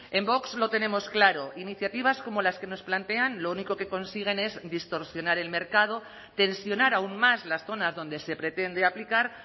en vox lo tenemos claro iniciativas como las que nos plantean lo único que consiguen es distorsionar el mercado tensionar aun más las zonas donde se pretende aplicar